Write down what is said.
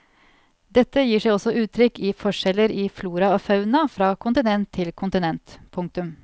Dette gir seg også uttrykk i forskjeller i flora og fauna fra kontinent til kontinent. punktum